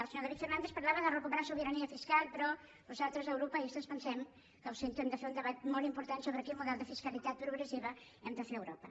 el senyor david fernàndez parlava de recuperar sobirania fiscal però nosaltres europeistes pensem que ho sento hem de fer un debat molt important sobre quin model de fiscalitat progressiva hem de fer a europa